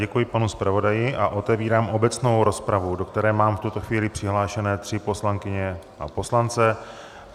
Děkuji panu zpravodaji a otevírám obecnou rozpravu, do které mám v tuto chvíli přihlášené tři poslankyně a poslance.